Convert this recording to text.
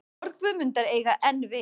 Orð Guðmundar eiga enn við.